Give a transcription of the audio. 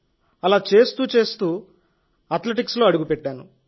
అలా చేస్తూచేస్తూ అథ్లెటిక్స్లో అడుగుపెట్టాను